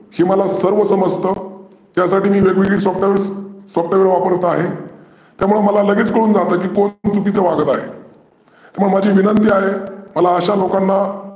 हे मला सर्व समजतं त्यासाठी मी वेग वेगळी softwaresSOFTWARES वापरत आहे. त्यामुळे मला लगेचं कळून जातं कोण चुकीचं वागत आहे. किंवा माझी विनंती आहे मला अशा लोकांना